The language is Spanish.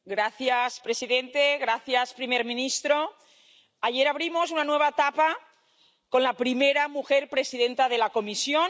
Señor presidente, primer ministro, ayer abrimos una nueva etapa con la primera mujer presidenta de la Comisión.